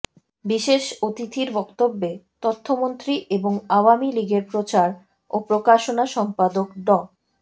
বিশেষ অতিথির বক্তব্যে তথ্যমন্ত্রী এবং আওয়ামী লীগের প্রচার ও প্রকাশনা সম্পাদক ড